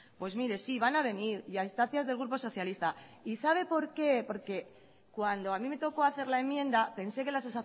pues mire sí van a venir y a instancias del grupo socialista y sabe por qué porque cuando a mí me tocó hacer la enmienda pensé que las